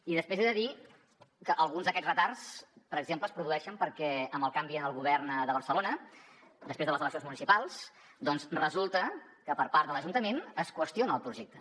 i després he de dir que alguns d’aquests retards per exemple es produeixen perquè amb el canvi en el govern de barcelona després de les eleccions municipals doncs resulta que per part de l’ajuntament es qüestiona el projecte